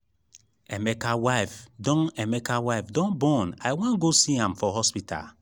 emeka wife don emeka wife don born i wan go see am for hospital